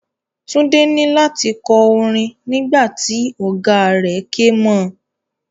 Tunde ni lati kọ orin nígbà tí ọ̀gáa rẹ̀ ké mo.